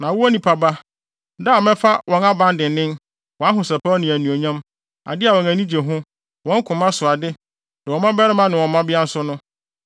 “Na wo, onipa ba, da a mɛfa wɔn aban dennen, wɔn ahosɛpɛw ne anuonyam, ade a wɔn ani gye ho, wɔn koma so ade, ne wɔn mmabarima ne wɔn mmabea nso no,